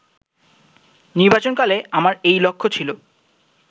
নির্বাচনকালে আমার এই লক্ষ্য ছিল